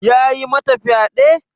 Yayi mata fyade?